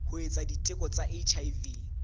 ho etsa diteko tsa hiv